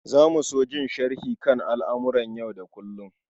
Za mu so jin sharhi kan al'amuran yau da kullum.